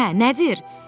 Hə, nədir?